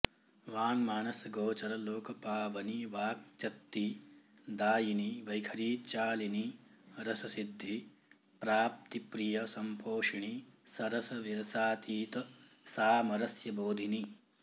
वाङ्मानसगोचर लोकपावनि वाक्चक्ति दायिनि वैखरीचालिनि रससिद्धि प्राप्तिप्रिय सम्पोषिणि सरस विरसातीत सामरस्य बोधिनि